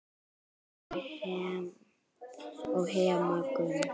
og Hemma Gunn.